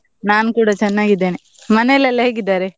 ನಾನ್ ಕೂಡ ಚೆನ್ನಾಗಿದ್ದೇನೆ, ಮನೆಲೆಲ್ಲಾ ಹೇಗಿದ್ದಾರೆ?